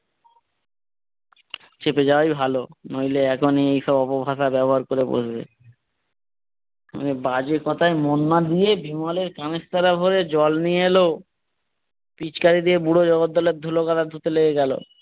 চেপে যাওয়াই ভালো। নইলে এখনই এইসব অপভাষা ব্যাবহার করে বসবে বাজে কথায় মন না দিয়ে বিমলের কানের তোলা ভরে জল নিয়ে এলো। পিচ্কারী দিয়ে বুড়ো জগদ্দলের ধুলো গলা ধুতে লাগে গেলো।